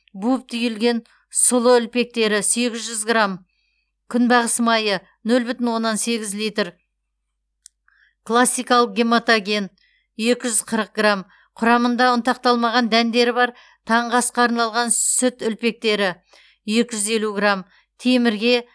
буып түйілген сұлы үлпектері сегіз жүз грамм күнбағыс майы нөл бүтін оннан сегіз литр классикалық гематоген екі жүз қырық грамм құрамында ұнтақталмаған дәндері бар таңғы асқа арналған сүт үлпектері екі жүз елу грамм темірге